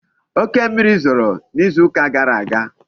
Oke mmiri zoro n'izu uka gara aga